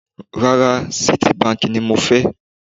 Rárá, Citibank ni mo fẹ́.